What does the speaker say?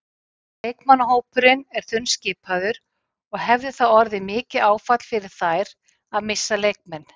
Leikmannahópurinn er þunnskipaður og hefði það orðið mikið áfall fyrir þær að missa leikmenn.